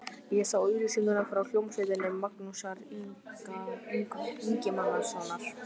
Ég sá auglýsingu frá hljómsveit Magnúsar Ingimarssonar.